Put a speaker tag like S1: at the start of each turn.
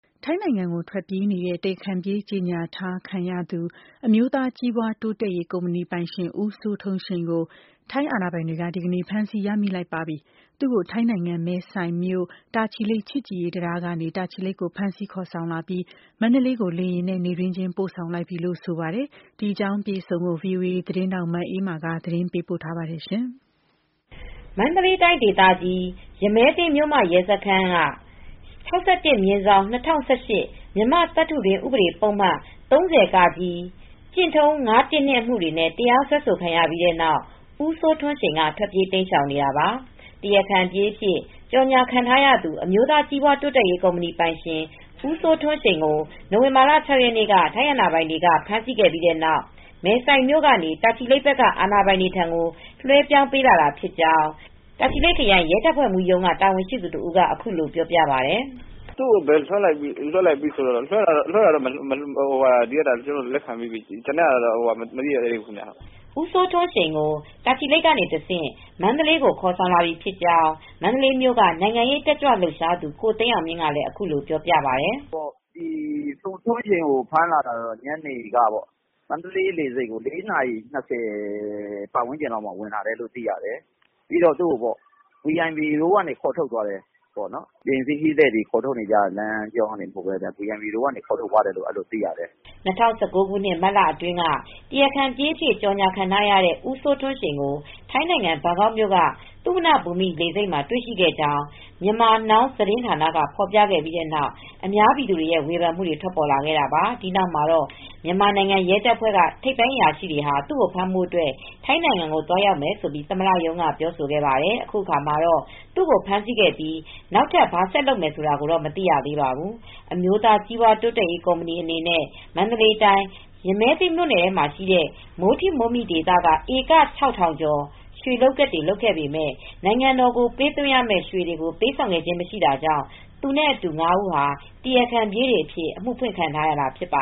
S1: ထိုင်းနိုင်ငံကို ထွက်ပြေးနေတဲ့ တရားခံပြေး ကြေညာခံထားရသူ အမျိုးသား ကြီးပွားတိုးတက်ရေး ကုမ္ပဏီပိုင်ရှင် ဦးစိုးထွန်းရှိန်ကို ထိုင်းအာဏာပိုင်တွေက ဒီကနေ့ ဖမ်းဆီးရမိလိုက်ပါပြီ။ သူ့ကို ထိုင်းနိုင်ငံ၊ မဲဆိုင်မြို့၊ တာချီလိတ် ချစ်ကြည်ရေး တံတားကနေတာချီလိတ်ကို ဖမ်းဆီးခေါ်ဆောင်လာပြီး မန္တလေးကို လေယာဉ်နဲ့ နေ့တွင်းချင်း ပို့ဆောင်လိုက်ပြီလို့ ဆိုပါတယ်။ ဒီအကြောင်း အပြည့်အစုံကိုတော့ ဗွီအိုအေသတင်းထောက် မအေးအေးမာက သတင်းပေးပို့ထားပါတယ်။ မန္တလေး
S2: တိုင်းဒေသကြီး၊ ရမည်းသင်း မြို့မရဲစခန်းက (ပ) ၆၁/၂၀၁၈၊ မြန်မာ့သတ္တုတွင်း ဥပဒေပုဒ်မ ၃၀(က)/ကျင့် ၅၁၂ အမှုတွေနဲ့ တရားစွဲခံရပြီးနောက် ဦးစိုးထွန်းရှိန်က ထွက်ပြေးတိမ်းရှောင်နေတာပါ။ တရားခံပြေးအဖြစ် ကြေညာ ခံထားရသူ အမျိုးသားကြီးပွား တိုးတက်ရေး ကုမ္ပဏီပိုင်ရှင် ဦးစိုးထွန်းရှိန်ကို နိုဝင်ဘာလ ၆ရက်နေ့က ထိုင်းနိုင်ငံ အာဏာပိုင်တွေက ဖမ်းဆီးမိခဲ့ပြီးတဲ့နောက် မဲဆိုင်မြို့ကနေ တာချီလိတ်ဘက်က အာဏာပိုင်တွေထံ လွဲပြောင်းပေးလာတာဖြစ်ကြောင်း တာချီလိတ် ခရိုင်ရဲတပ်ဖွဲ့မှူးရုံး တာဝန်ရှိသူတဦးက အခုလိုပြောပြပါတယ်။
S3: “သူကို့တော့ လွဲပြောင်းတာ ကျနော်တို့လက်ခံပြီးပါပြီ။ ကျန်တာတော့ ကျနော်တို့ ဘာမှ မသိရသေးပါဘူး
S2: “ ဦးစိုးထွန်းရှိန်ကို တာချီလိတ်ကနေတဆင့် မန္တလေးကို ခေါ်ဆောင်လာပြီဖြစ်ကြောင်း မန္တလေးမြို့က နိုင်ငံရေး တက်ကြွလှုပ်ရှားသူ ကိုသိန်းအောင်မြင့်က အခုလိုပြောပြပါတယ်။
S3: “ဦးစိုးထွန်းရှိန်ကိုတော့ ဖမ်းလာတာ ညနေကပေါ့။မန္တလေးလေဆိပ်ကို ၄နာရီ ၂၀လောက်မှာ ဝင်လာတယ်လို့ သိရတယ်။ သူကို တော့ တခြားခရီးသည်တွေခေါ်ထုတ်တဲ့နေရာကနေမဟုတ်ပဲ VIP နိုင်ငံတော်လူကြီးတွေ သွားတဲ့လမ်းကြောင်းကနေ ခေါ်ထုတ်သွားတယ်လို့ပဲ သိရပါတယ်။” ၂၀
S2: ၁၉ ခုနှစ် မတ်လအတွင်းက တရားခံပြေးအဖြစ် ကြေညာခံထားရတဲ့ ဦးစိုးထွန်းရှိန်ကိုထိုင်းနိုင်ငံ ဘန်ကောက်မြို့က သုဝဏ္ဏဘူမိလေဆိပ်မှာ တွေ့ရှိခဲ့ကြောင်း Myanmar Now သတင်းဌာနက ဖော်ပြခဲ့ပြီး အများပြည်သူတွေရဲ့ဝေဖန်မူတွေ ထွက်ပေါ်ခဲ့တာပါ။ ဒီနောက်မှာတော့ မြန်မာ ရဲတပ်ဖွဲ့ ထိပ်ပိုင်း အရာရှိတွေဟာ သူ့ကိုဖမ်းဖို့ အတွက် ထိုင်းနိုင်ငံကို သွားရောက်မယ်လို့ သမ္မတရုံးက ပြောဆိုခဲ့ပါတယ်။ အခုအခါမှာတော့ သူ့ကို ဖမ်းဆီးခဲ့ပြီး နောက်ထပ် ဘာဆက်လုပ်မယ်ဆိုတာကိုတော့ မသိရသေးပါဘူး။ အမျိုးသားကြီးပွားတိုးတက်ရေး ကုမ္ပဏီ အနေနဲ့မန္တလေးတိုင်း၊ ရမည်းသင်းမြို့နယ်မှာရှိတဲ့ မိုးထိ မိုးမိဒေသက ဧက (၆၀၀၀) ကျော်မှာ ရွှေလုပ်ကွက်တွေ လုပ်ခဲ့ပေမဲ့နိုင်ငံတော်ကိုပေးသွင်းရမဲ့ရွေတွေ ပေးဆောင်တာ မရှိတာကြောင့် သူနဲ့အတူ ၅ဦးဟာ တရာခံပြေးတွေအဖြစ် အမူဖွင့်ခံထားရတာဖြစ်ပ